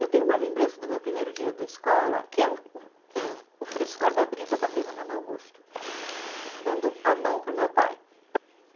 Eu tenho uma lembrança do meu primeiro dia da escola, que é o, o o frescor da brisa batendo no meu rosto, dando a mão para o meu pai.